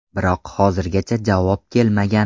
Biroq hozirgacha javob kelmagan.